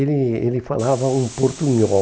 Ele ele falava um portunhol.